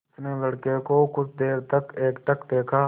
उसने लड़के को कुछ देर तक एकटक देखा